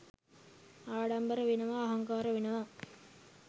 ආඩම්බර වෙනවා අහංකාර වෙනවා